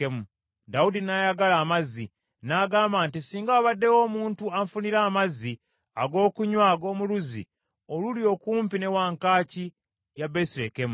Dawudi n’ayagala amazzi, n’agamba nti, “Singa wabaddewo omuntu anfunira amazzi ag’okunywa ag’omu luzzi oluli okumpi ne wankaaki ya Besirekemu.”